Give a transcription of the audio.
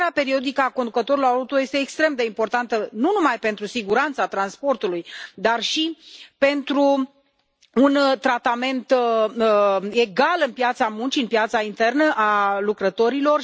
Formarea periodică a conducătorul auto este extrem de importantă, nu numai pentru siguranța transportului, dar și pentru un tratament egal pe piața muncii, pe piața internă a lucrătorilor